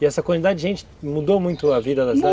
E essa quantidade de gente mudou muito a vida da cidade? Mu